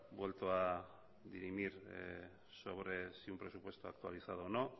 vuelto a dirimir sobre si un presupuesto actualizado o no